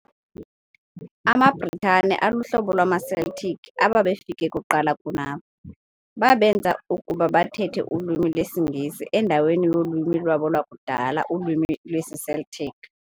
amaBritane aluhlobo lwamaCeltic ababefike kuqala kunabo, babenza ukuba bathethe ulwimi lwesingesi endaweni yolwimi lwabo lwakudala ulwimi lwesiCeltic.